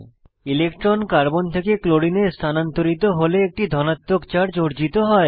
electron carbon থেকে ক্লোরিনে স্থানান্তরিত হলে একটি ধনাত্মক চার্জ অর্জিত হয়